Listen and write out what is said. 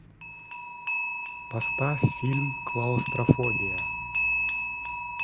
поставь фильм клаустрофобия